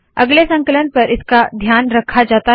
अगले संकलन पर इसका ध्यान रखा जाता है